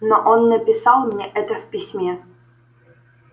но он написал мне это в письме